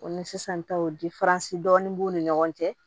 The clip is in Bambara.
O ni sisan taw dɔɔnin b'u ni ɲɔgɔn cɛ